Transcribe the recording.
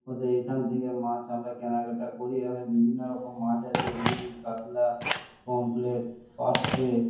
অতএব এইখান থেকে মাছ আমরা কেনাকাটা করি। এখানে বিভিন্নরকম মাছ আছে। রুই কাতলা পামফ্লেট পার্শে ।